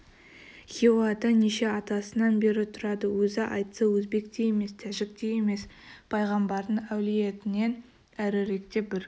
хиуада неше атасынан бері тұрады өзі айтса өзбек те емес тәжікте емес пайғамбардың әулиетінен әріректе бір